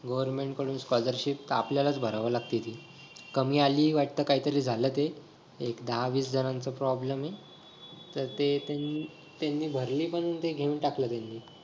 goverment कडून scholarship का आपल्याला च भरावीच लागते ती. कमी आली वाटत कायतरी झालं ते एक दहा विस जणांचा problem हाय तर त्यातील त्यांनी भरली पण घेऊन टाकलं त्यांनी